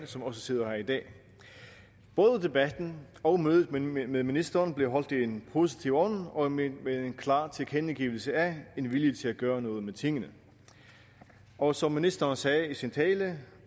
som også sidder her i dag både debatten og mødet med med ministeren blev holdt i en positiv ånd og med en klar tilkendegivelse af en vilje til at gøre noget ved tingene og som ministeren sagde i sin tale